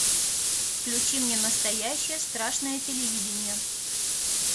включи мне настоящее страшное телевидение